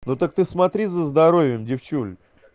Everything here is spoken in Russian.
ну так ты смотри за здоровьем девчуля